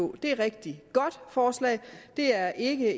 det er et rigtig godt forslag det er ikke